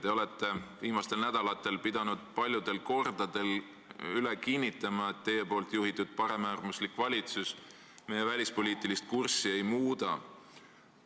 Te olete viimastel nädalatel pidanud paljudel kordadel üle kinnitama, et teie juhitud paremäärmuslik valitsus riigi välispoliitilist kurssi ei muuda.